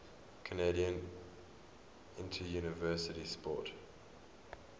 canadian interuniversity sport